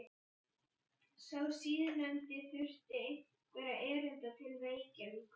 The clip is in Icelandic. Sá síðarnefndi þurfti einhverra erinda til Reykjavíkur.